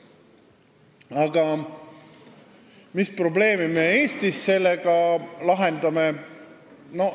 Aga mis probleemi me sellega Eestis lahendame?